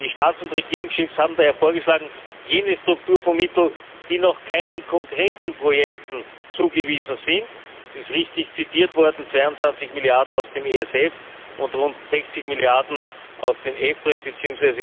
Die Staats und Regierungschefs haben daher vorgeschlagen, jene Strukturfondsmittel, die noch keinen konkreten Projekten zugewiesen sind es ist richtig zitiert worden 22 Milliarden aus dem ESF und rund 60 Milliarden aus dem EFRE bzw.